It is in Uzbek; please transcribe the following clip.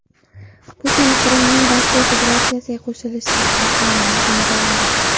Putin Qrimning Rossiya Federatsiyasiga qo‘shilishi haqidagi qonunni imzoladi.